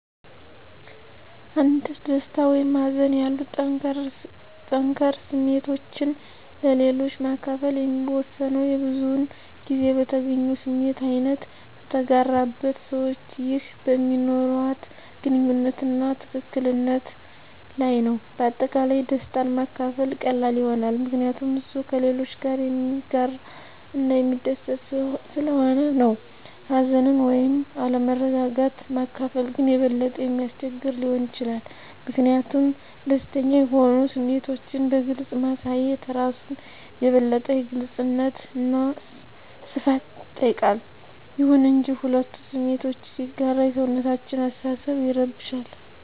አንድ ደስታ ወይም ሀዘን ያሉ ጠንከር ስሜቶችን ለሌሎች ማከፈል የሚወሰነው የብዙዉን ጊዜ በተገኘው ስሜት አይነት፣ በተጋራበት ሰዋች ይህ በሚኖርዋት ግንኙነት አና ትክክል ነት ለይ ነዉ። በአጠቃላይ ደስታን ማካፈል ቀላል ይሆናል ምከንያቱም እሱ ከሌሎች ጋረ የሚያጋረ እና የሚስደስት ሰለሆነ ነው። ሀዘንን ወይም አለመረጋጋት ማካፈል ግን የበለጠ የሚያስቸግር ሊሆን ይችላል ሚኪንያቱም ደስተኛ የሆኑ ስሜቶችን በግልፅ ማሳየት እራሱን የበለጠ የግልጽነት አና ሰፋት ይጠይቃል። ይሁን እንጂ፣ ሁለቱ ስሜቶችን ሲጋራ የሰውነታችን አሰተሳሰብ ይረብሻል